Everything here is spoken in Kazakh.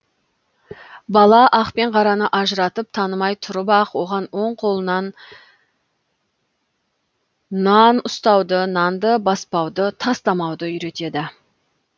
бала ақ пен қараны ажыратып танымай тұрып ақ оған оң қолына нан ұстауды нанды баспауды тастамауды үйретеді